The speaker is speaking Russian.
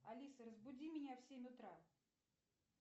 алиса разбуди меня в семь утра